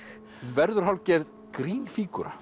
verður hálfgerð